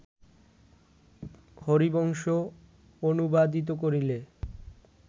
হরিবংশ অনুবাদিত করিলে